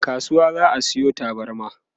a kasuwa za'a Sayo tabarma